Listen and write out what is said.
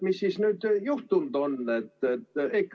Mis siis nüüd juhtunud on?